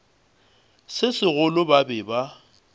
se segolo ba be ba